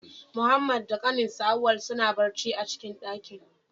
Muhammad da ƙaninsa, Auwal suna barci a'cikin daƙin.